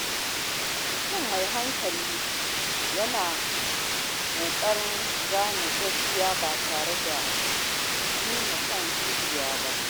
Mutum mai hankali yana kokarin ganin gaskiya ba tare da nuna son zuciya ba.